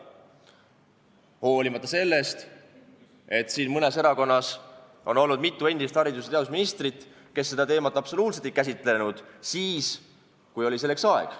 Hoolimata sellest, et siin mõnes erakonnas on olnud mitu endist haridus- ja teadusministrit, kes absoluutselt ei käsitlenud seda teemat siis, kui selleks oli aeg.